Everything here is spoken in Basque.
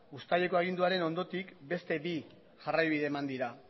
uztaileko aginduaren ondotik beste bi jarraibide eman dira